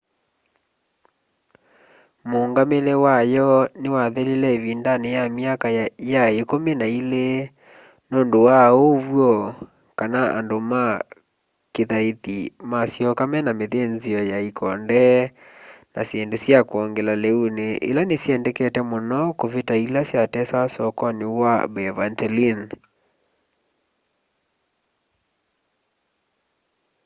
mũngamĩle wa yo nĩwathelĩle ĩvĩndanĩ ya myaka ya ĩkũmĩ n ĩlĩ nũndũ wa ũwyo kana andũ ma kĩthaĩthĩ masyoka mena mĩthĩnzĩo ya ĩkonde na shĩndũ sya kwongela leũnĩ ĩla nĩ syendekete mũno kũvita ĩla sya tesawa sokonĩ wa byvantine